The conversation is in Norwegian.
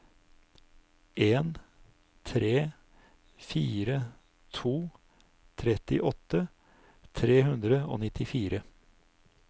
en tre fire to trettiåtte tre hundre og nittifire